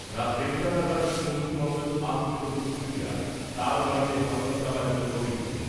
রাত দেড়টা নাগাদ তৃণমূল কংগ্রেস আশ্রিত দুষ্কৃতীরা তাঁর বাড়িতে হামলা চালায় বলে অভিযোগ।